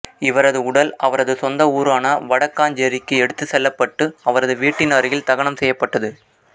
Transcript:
இவரது உடல் அவரது சொந்த ஊரான வடக்காஞ்சேரிக்கு எடுத்துச் செல்லப்பட்டு இவரது வீட்டின் அருகில் தகனம் செய்யப்பட்டது